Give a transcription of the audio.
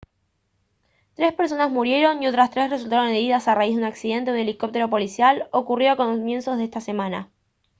tres personas murieron y otras tres resultaron heridas a raíz de un accidente de un helicóptero policial ocurrido a comienzos de esta semana